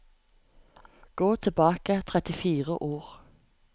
Gå tilbake trettifire ord